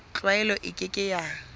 tlwaelo e ke ke ya